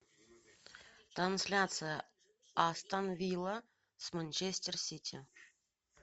трансляция астон вилла с манчестер сити